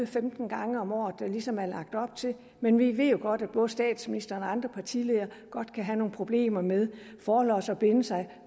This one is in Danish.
femten gange om året der ligesom er lagt op til men vi ved jo godt at både statsministeren og andre partiledere godt kan have nogle problemer med forlods at binde sig